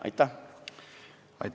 Aitäh!